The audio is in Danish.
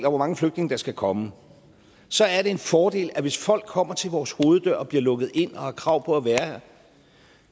og hvor mange flygtninge der skal komme så er det en fordel at hvis folk kommer til vores hoveddør og bliver lukket ind og har krav på at være her